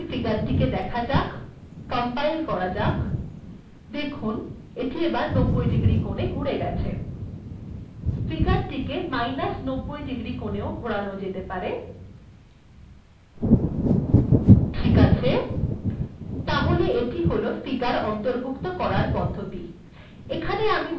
তাহলে এই ফিগার্টিতে দেখা যাক কম্পাইল্ করা যাক এটি ৯০ ডিগ্রী কোনে ঘুরে গেছে ফিগার্টিকে মাইনাস্ ৯০ ডিগ্রী কোনেও ঘোরানো যেতে পারে ঠিক আছে তাহলে এটি হল ফিগার্ অন্তর্ভুক্ত করার পদ্ধতি